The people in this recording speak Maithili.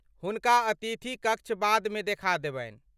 हुनका अतिथि कक्ष बादमे देखा देबनि।